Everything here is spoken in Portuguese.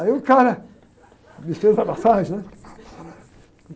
Aí o cara me fez a massagem, né?